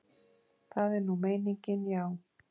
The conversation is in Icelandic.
Það er nú meiningin, já.